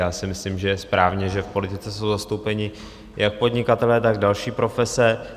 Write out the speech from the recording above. Já si myslím, že je správně, že v politice jsou zastoupeni jak podnikatelé, tak další profese.